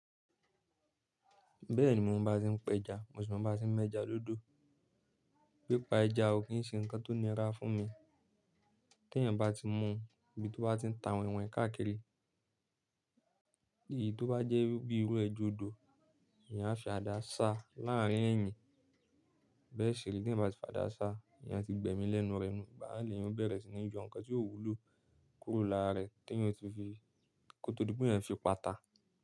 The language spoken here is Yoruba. Bẹ́ẹ̀ ni mo mọ bá ti ń pẹja, mo sì mọ bá ti ń mẹ́ja dódó. Pípa ẹja ò kí ń ṣe nǹkan tó nira fún mi. Tí èèyàn bá ti mu ibi tó bá ti ń ta wọnhin wọnhin káàkiri, èyí tó bá jẹ́ irú ibi irú ẹja odò, èèyàn á fi àdá sá láàárín ẹ̀yìn. Bẹ́ẹ̀ ṣe rí, tí èèyàn bá ti fàdá sá, èèyàn ti gbẹ̀mí lẹ́nu rẹ̀ nu, igbá naà lè yan ó bẹ̀rẹ̀ sí ní yọ nǹkan tí ó wúlò kúrò lára rẹ̀ tí èèyàn o ti fi kò tó di pe ẹyan fi pa ta.